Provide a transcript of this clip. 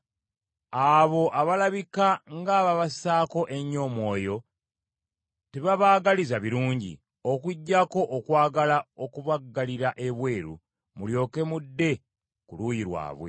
Abo abalabika ng’abaabassaako ennyo omwoyo tebabaagaliza birungi, okuggyako okwagala okubaggalira ebweru, mulyoke mudde ku luuyi lwabwe.